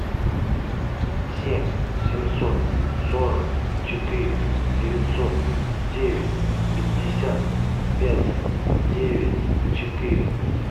семь семьсот сорок четыре девятьсот девять пятьдесят пять девять четыре